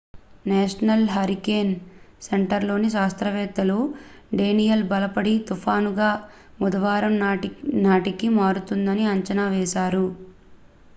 national hurricane సెంటర్లోని శాస్త్రవేత్తలు Daniel బలపడి తుఫానుగా బుధవారం నాటికి మారుతుందని అంచనా వేశారు